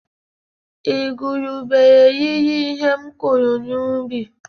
Igurube riri ihe m kụrụ n’ubi